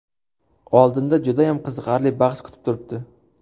Oldinda judayam qiziqarli bahs kutib turibdi.